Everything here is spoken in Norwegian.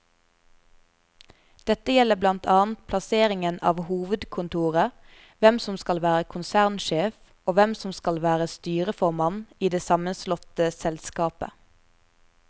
Dette gjelder blant annet plasseringen av hovedkontoret, hvem som skal være konsernsjef og hvem som skal være styreformann i det sammenslåtte selskapet.